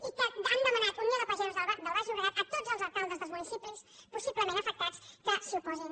i que han demanat unió de pagesos del baix llobregat a tots els alcaldes dels municipis possiblement afectats que s’hi oposin